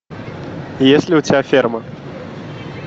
есть ли у тебя ферма